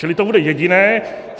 Čili to bude jediné.